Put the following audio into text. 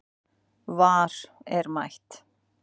VAR er mætt